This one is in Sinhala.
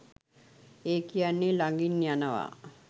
ඒ කියන්නේ ලඟින් යනවා !.